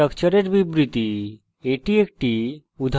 স্ট্রাকচারের বিবৃতি